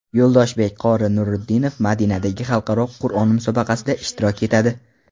Yo‘ldoshbek qori Nuriddinov Madinadagi xalqaro Qur’on musobaqasida ishtirok etadi.